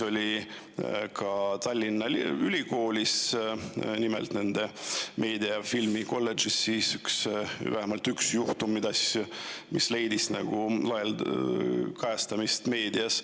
Aga ka Tallinna Ülikoolis, nimelt nende meedia- ja filmikolledžis on olnud vähemalt üks juhtum, mis leidis kajastust meedias.